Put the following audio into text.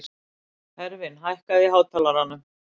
Hervin, hækkaðu í hátalaranum.